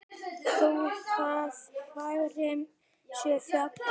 Þó að framtíð sé falin